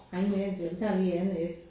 Jeg har ingen anelse vi tager lige et andet et